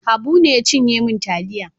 Habu ne ya cinye min taliya.